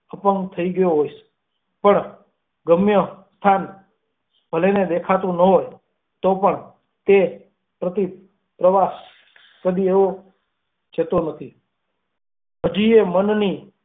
અપંગ થઈ ગયી હોઈશ, પણ ગમ્ય સ્થાન ભલેને દેખાતું ન હોય તોપણ તે પ્રતિ પ્રવાસ કદી એળે જતા નથી હાજી એ મન ની.